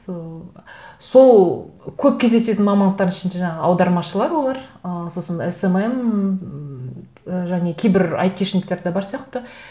сол көп кездесетін мамандықтардың ішінде жаңағы аудармашылар олар ы сосын эсэмэм және кейбір айтишниктер де бар сияқты